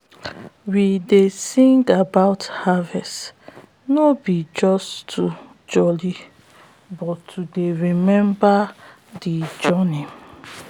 we dey sing about harvest no be just to jolli but to dey remember de journey